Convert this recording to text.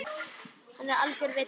Hann er algjör vibbi.